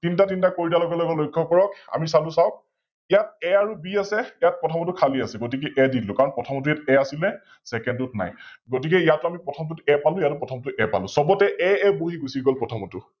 তিনটা তিনটা কৰি দিয়াৰ লগে লগে লক্ষ্য কৰক আমি চালো চাওক ইয়াত A আৰু B আছে, ইয়াত প্ৰথমৰটো খালি আছে গতিকে A দি দিলো কাৰন প্ৰথমটোত ইয়াত A আছিল Second টোত নাই, গতিকে ইয়াত আমি প্ৰথমটোত A পালো ইয়াতো প্ৰথমটোত A পালো, সৱতে AA বঢি গুছি গল প্ৰথমৰটো